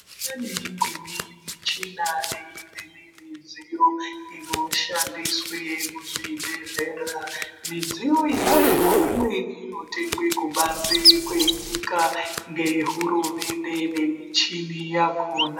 Pane imweni michina neimweni midziyo inoshandiswe muzvibhedhlera, midziyo iyoyo imweni inotengwe kubanze kwenyika ngehurumende ngemichini yakona.